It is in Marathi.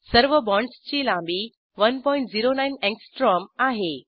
सर्व बाँडसची लांबी 109 अँगस्ट्रॉम आहे